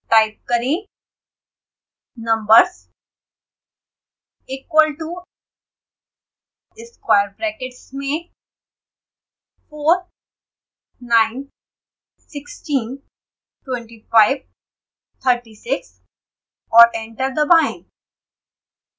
type करें numbers equal to square brackets में 4 9 16 25 36 और एंटर दबाएं